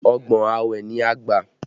Ọgbọ́n awẹ ni a gbà